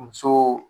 Muso